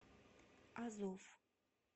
азов